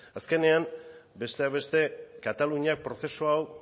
azkenean besteak beste kataluniak prozesu hau